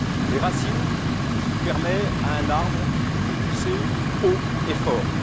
Les racines, c'est ce qui permet à un arbre de pousser haut et fort.